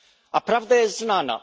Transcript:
A prawda jest znana.